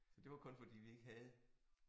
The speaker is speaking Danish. Så det var kun fordi vi ikke havde